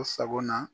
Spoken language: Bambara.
U sagona